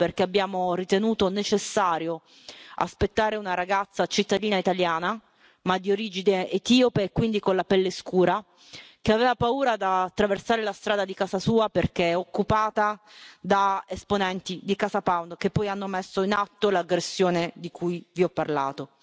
Questo perché abbiamo ritenuto necessario aspettare una ragazza cittadina italiana, ma di origine etiope e quindi con la pelle scura, che aveva paura di attraversare la strada di casa sua, perché occupata da esponenti di CasaPound, che poi hanno messo in atto l'aggressione di cui vi ho parlato.